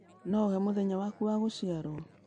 No ũhe mũthenya waku wa gũciarũo?